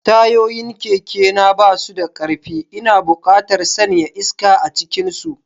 Tayoyin kekena ba su da ƙarfi, ina buƙatar sanya iska a cikinsu.